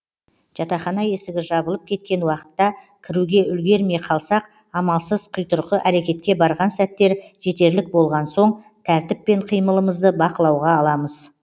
жатахана есігі жабылып кеткен уақытта кіруге үлгермей қалсақ амалсыз құйтырқы әрекетке барған сәттер жетерлік болған соң тәртіппен қимылымызды бақылауға аламыз